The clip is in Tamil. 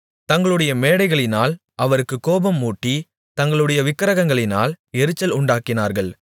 தங்களுடைய மேடைகளினால் அவருக்குக் கோபம் மூட்டி தங்களுடைய விக்கிரகங்களினால் எரிச்சல் உண்டாக்கினார்கள்